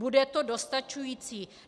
Bude to dostačující?